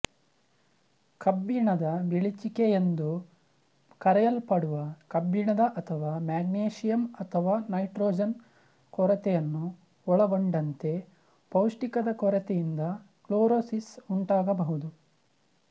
ಕಬ್ಬಿಣದ ಬಿಳಿಚಿಕೆ ಎಂದು ಕರೆಯಲ್ಪಡುವ ಕಬ್ಬಿಣದ ಅಥವಾ ಮ್ಯಾಗೇಶಿಯಮ್ಅಥವಾ ನೈಟ್ರೋಜನ್ ಕೊರತೆಯನ್ನು ಒಳಗೊಂಡಂತೆ ಪೌಷ್ಠಿಕದ ಕೊರತೆಯಿಂದ ಕ್ಲೋರೋಸಿಸ್ ಉಂಟಾಗಬಹುದು